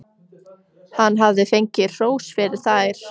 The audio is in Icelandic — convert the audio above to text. Hann hafði fengið hrós fyrir þær.